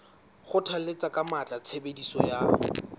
kgothalletsa ka matla tshebediso ya